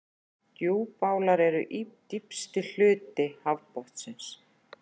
Djúpálar eru dýpsti hluti hafsbotnsins.